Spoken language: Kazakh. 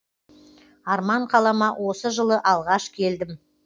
арман қалама осы жылы алғаш келдім